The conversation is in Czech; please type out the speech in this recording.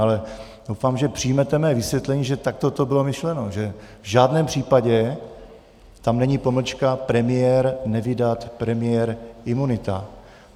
Ale doufám, že přijmete mé vysvětlení, že takto to bylo myšleno, že v žádném případě tam není pomlčka: premiér - nevydat, premiér - imunita.